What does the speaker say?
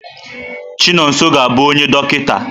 Chinonso ga-abụ onye dọkịta.